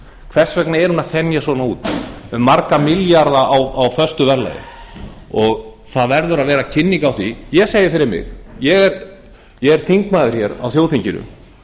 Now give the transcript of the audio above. hvers vegna er hún að þenjast svona út um marga milljarða á föstu verðlagi það verður að vera kynning á því ég segi fyrir mig ég er þingmaður hér á þjóðþinginu